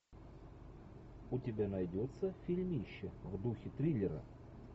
у тебя найдется фильмище в духе триллера